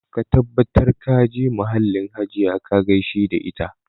Ka tabbatar ka je mahallin Hajiya ka gaishe da ita